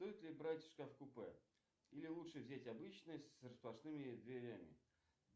стоит ли брать шкаф купе или лучше взять обычный с распашными дверями